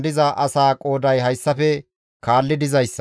Nebo katama asati 52,